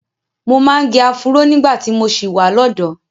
Mo máa ń gẹ áfúró nígbà tí mo ṣì wà lọ́dọ̀ọ́.